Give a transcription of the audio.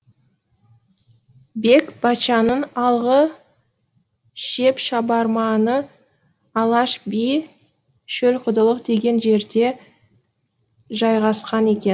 бек баччаның алғы шеп шабарманы алаш би шөлқұдылық деген жерде жайғасқан екен